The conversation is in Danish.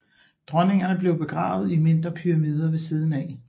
Dronningene blev begravet i mindre pyramider ved siden af